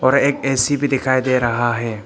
और एक ए_सी भी दिखाई दे रहा है।